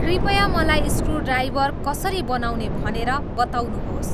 कृपया मलाई स्क्रुड्राइभर कसरी बनाउने भनेर बताउनुहोस्